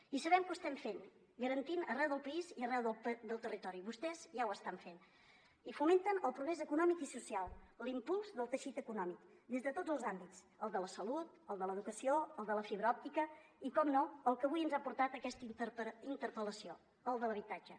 i sabem que ho estem fent garantint les arreu del país i arreu del territori vostès ja ho estan fent i fomenten el progrés econòmic i social l’impuls del teixit econòmic des de tots els àmbits el de la salut el de l’educació el de la fibra òptica i per descomptat el que avui ens ha portat a aquesta interpel·lació el de l’habitatge